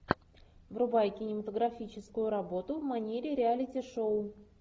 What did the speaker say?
врубай кинематографическую работу в манере реалити шоу